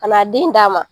Ka n'a den d'a ma